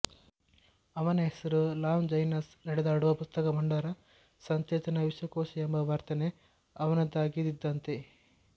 ಅವನ ಹೆಸರು ಲಾಂಜೈನಸ್ ನಡೆದಾಡುವ ಪುಸ್ತಕಭಂಡಾರ ಸಚೇತನ ವಿಶ್ವಕೋಶಎಂಬ ವರ್ಣನೆ ಅವನದ್ದಾಗಿದ್ದಿತಂತೆ